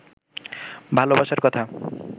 ভালবাসার কথা